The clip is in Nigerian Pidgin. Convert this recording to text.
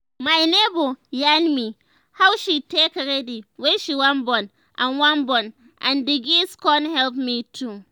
my neighbor yarn me how she take ready wen she wan born and wan born and the gist con help me too